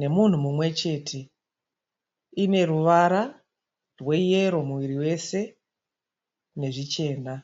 nemunhu mumwe chete. Ineruvara rweyero muviri wese nezvichena.